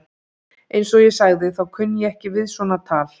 Eins og ég sagði, þá kunni ég ekki við svona tal.